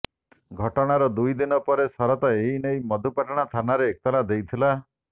ଘଟଣାର ଦୁଇ ଦିନ ପରେ ଶରତ ଏନେଇ ମଧୁପାଟଣା ଥାନାରେ ଏତଲା ଦେଇଥିଲେ